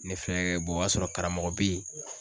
Ne fɛ o y'a sɔrɔ karamɔgɔ be ye